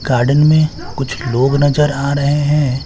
Garden में कुछ लोग नजर आ रहे हैं।